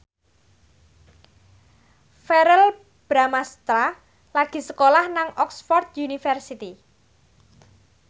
Verrell Bramastra lagi sekolah nang Oxford university